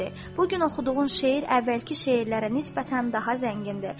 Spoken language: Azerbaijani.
Bu gün oxuduğun şeir əvvəlki şeirlərə nisbətən daha zəngindir.